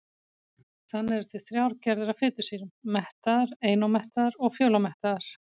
Þannig eru til þrjár gerðir af fitusýrum: mettaðar, einómettaðar og fjölómettaðar.